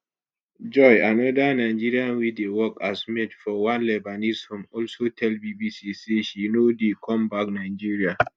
joy anoda nigerian wey dey work as maid for one lebanese home also tell bbc say she no dey come back nigeria